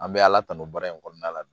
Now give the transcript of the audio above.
An bɛ ala tanu baara in kɔnɔna la bi